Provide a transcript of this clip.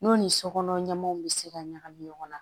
N'o ni sokɔnɔ ɲɛmaaw bɛ se ka ɲagami ɲɔgɔn na